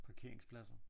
Parkeringspladsen ja